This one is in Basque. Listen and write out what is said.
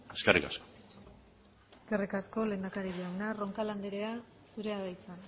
eskerrik asko eskerrik asko lehendakari jauna roncal andrea zurea da hitza